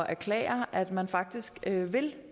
erklære at man faktisk vil